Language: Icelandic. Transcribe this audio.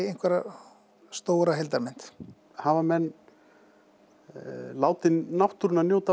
einhverja stóra heildarmynd hafa menn látið náttúruna njóta